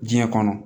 Diɲɛ kɔnɔ